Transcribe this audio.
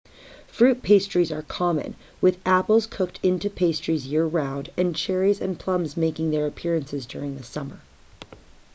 fruit pastries are common with apples cooked into pastries year round and cherries and plums making their appearances during the summer